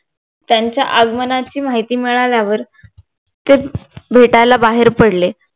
त्यांच्या आगमनाची माहिती मिळाल्यावर ते भेटायला बाहेर पडले